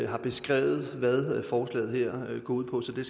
har beskrevet hvad forslaget her går ud på så det